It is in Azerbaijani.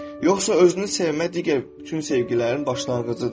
Yoxsa özünü sevmə digər bütün sevgilərin başlanğıcıdır.